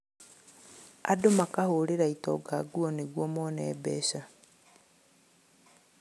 Andũ makahũrĩra itonga nguo nĩguo mone mbeca